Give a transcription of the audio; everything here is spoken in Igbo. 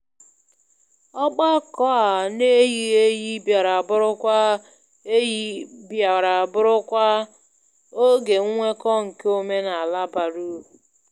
Ọgbakọ a n'eyighị eyi bịara bụrụkwa eyi bịara bụrụkwa oge nnweko nke omenala bara uru.